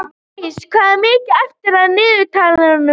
Blædís, hvað er mikið eftir af niðurteljaranum?